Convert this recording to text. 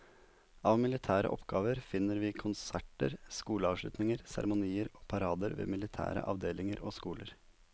Av militære oppgaver finner vi konserter, skoleavslutninger, seremonier og parader ved militære avdelinger og skoler.